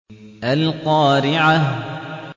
الْقَارِعَةُ